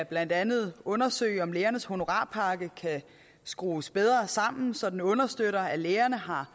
blandt andet undersøges om lægernes honorarpakke kan skrues bedre sammen så den understøtter at lægerne har